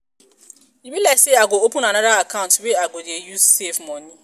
e be like sey i go open anoda account wey i go dey use save moni.